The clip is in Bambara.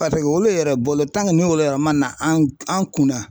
olu yɛrɛ bolo n'olu yɛrɛ ma na an kunna.